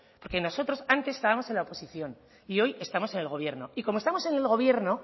porque nosotros antes estábamos en la oposición y hoy estamos en el gobierno y como estamos en el gobierno